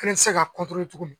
Kelen tɛ se ka tuguni